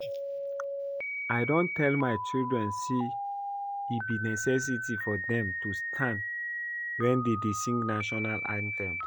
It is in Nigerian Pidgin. I don tell my children say e be necessity for dem to stand wen dey dey sing national anthem